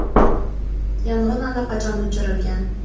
Yong‘in allaqachon o‘chirilgan.